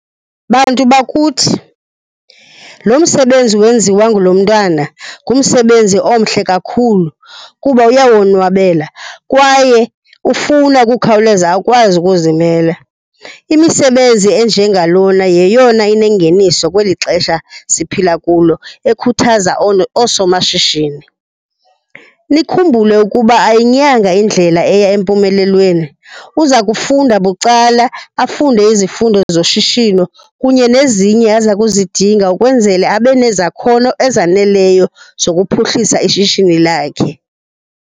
Bantu bakuthi, lo msebenzi wenziwa ngulo mntwana ngumsebenzi omhle kakhulu kuba uyawonwabela kwaye ufuna ukukhawuleza akwazi ukuzimela. Imisebenzi enjengalona yeyona inengeniso kweli xesha siphila kulo ekhuthaza oosomashishini. Nikhumbule ukuba ayinyanga indlela eya empumelweni. Uza kufunda bucala, afunde izifundo zoshishino kunye nezinye aza kuzidinga ukwenzela abe nezakhono ezaneleyo zokuphuhlisa ishishini lakhe.